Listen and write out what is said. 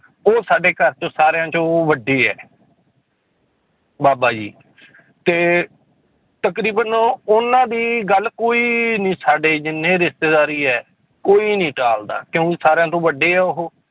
ਉਹ ਸਾਡੇ ਘਰ ਚੋਂ ਸਾਰਿਆਂ ਚੋਂ ਵੱਡੇ ਹੈ ਬਾਬਾ ਜੀ ਤੇ ਤਕਰੀਬਨ ਉਹਨਾਂ ਦੀ ਗੱਲ ਕੋਈ ਨੀ ਸਾਡੇ ਜਿੰਨੇ ਰਿਸ਼ਤੇਦਾਰੀ ਹੈ, ਕੋਈ ਨੀ ਟਾਲਦਾ ਕਿਉਂਕਿ ਸਾਰਿਆਂ ਤੋਂ ਵੱਡੇ ਹੈ ਉਹ